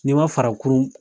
Ni ma fara kurun